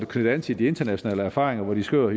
knytte an til de internationale erfaringer hvor de skriver